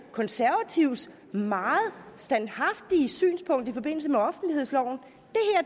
konservatives meget standhaftige synspunkt i forbindelse med offentlighedsloven